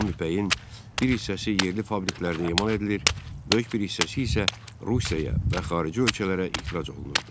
Xam ipəyin bir hissəsi yerli fabriklərdə emal edilir, böyük bir hissəsi isə Rusiyaya və xarici ölkələrə ixrac olunurdu.